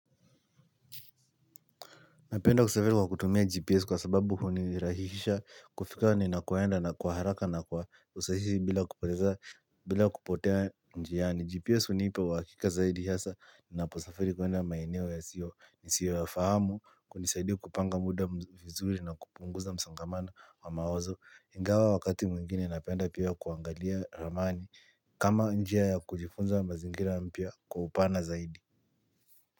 Napenda kusafiri kwa kutumia GPS kwa sababu hunirahisha kufika ni nakoenda na kwa haraka na kwa usahihi bila kupoteza bila kupotea njiani. GPS hunipa uhakika zaidi hasa ninaposafiri kwenda maeneo ya siyo nisiyo yafahamu kunisaidi kupanga muda vizuri na kupunguza msongamano wa mawazo. Ingawa wakati mwingine napenda pia kuangalia ramani kama njia ya kujifunza mazingira mpya kwa upana zaidi.